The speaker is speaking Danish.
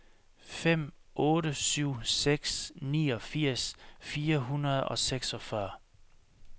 fem otte syv seks niogfirs fire hundrede og seksogfyrre